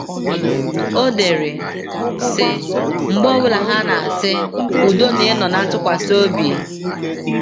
O dere, sị: “ Mgbe ọ bụla ha na - asị: ‘ Udo na ịnọ ná ntụkwasị obi! ’